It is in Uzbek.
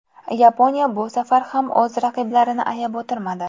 Yaponiya bu safar ham o‘z raqiblarini ayab o‘tirmadi.